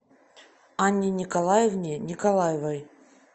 анне николаевне николаевой